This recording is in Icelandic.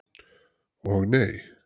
Og nei!